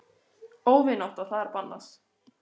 Óvinátta það er bannað.